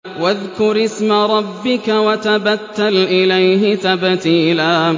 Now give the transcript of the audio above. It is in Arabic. وَاذْكُرِ اسْمَ رَبِّكَ وَتَبَتَّلْ إِلَيْهِ تَبْتِيلًا